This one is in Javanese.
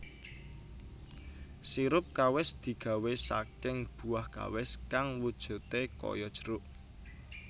Sirup kawis digawè saking buah Kawis kang wujudè kaya jeruk